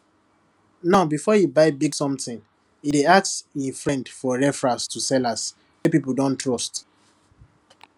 now before e buy big something e dey ask e friends for referral to sellers wey people don don trust